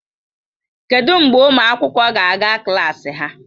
Kedụ mgbe ụmụ akwụkwọ ga-aga klas ha?